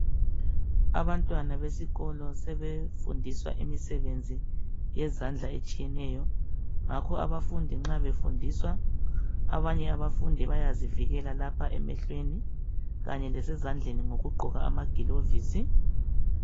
Abantwana besikolo sebefundiswa imisebenzi yezandla etshiyeneyo ngakho abafundi nxa befundiswa abanye abafundi bayazivikela lapha emehlweni kanye lasezandleni ngokugqoka amagilovisi.